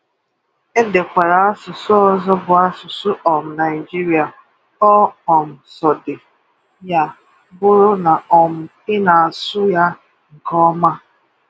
Edekwala asụ̀sụ̀ ọzọ bụ̀ asụ̀sụ̀ um Naịjírịa, ọ um sọọdị ya bụ̀rụ̀ na um ị na-asụ ya nke ọma.